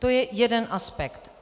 To je jeden aspekt.